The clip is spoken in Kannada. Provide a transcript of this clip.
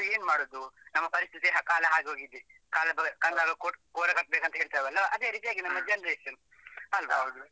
So ಮತ್ತೆ ಏನ್ ಮಾಡುದು ನಮ್ಮ ಪರಿಸ್ಥಿತಿ ಕಾಲ ಹಾಗಾಗಿದೆ. ಕಾಲ ಬಂದಾಗ ಕೋಲ ಕಟ್ಬೇಕು ಅಂತ ಹೇಳ್ತೇವಲ್ಲ ಅದೇ ರೀತಿ ಆಗಿದೆ ನಮ್ಮ generation ಅಲ್ವಾ?